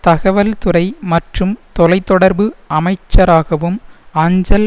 தகவல்துறை மற்றும் தொலை தொடர்பு அமைச்சராகவும் அஞ்சல்